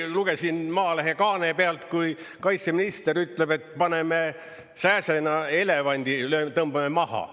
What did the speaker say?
Lugesin Maalehe kaane pealt, kui kaitseminister ütleb, et paneme sääsena elevandi tõmbame maha.